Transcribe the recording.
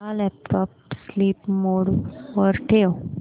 माझा laptop sleep mode वर ठेव